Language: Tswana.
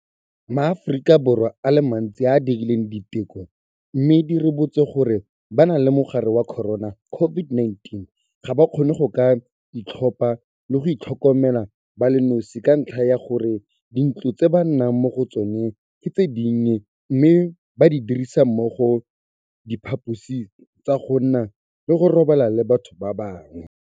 MaAforika Borwa a le mantsi a a dirileng diteko mme di ribotse gore ba na le mogare wa corona COVID-19 ga ba kgone go ka itlhopha le go itlhokomela ba le nosi ka ntlha ya gore dintlo tse ba nnang mo go tsona ke tse dinnye mme ba dirisa mmogo diphaposi tsa go nna le go robala le batho ba bangwe.